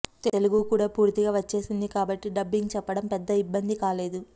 తెలుగు కూడా పూర్తిగా వచ్చేసింది కాబట్టి డబ్బింగ్ చెప్పడం పెద్ద ఇబ్బంది కాలేదు